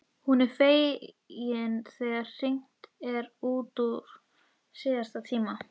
Hún er fegin þegar hringt er út úr síðasta tíma.